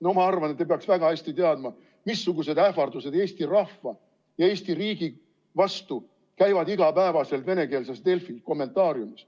No ma arvan, et te peaks väga hästi teadma, missugused ähvardused eesti rahva ja Eesti riigi vastu käivad iga päev venekeelses Delfi kommentaariumis.